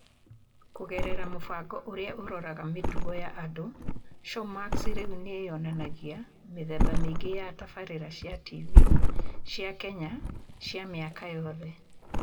Kũgerera mũbango ũrĩa ũroraga mĩtugo ya andũ, Showmax rĩu nĩ yonanagia mĩthemba mĩingĩ ya tabarĩra cia tv cia Kenya cia mĩaka yothe.